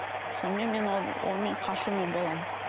сонымен мен онымен қашумен боламын